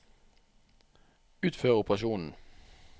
utfør operasjonen